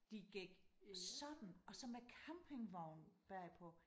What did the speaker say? De gik sådan og så med campingvogn bagpå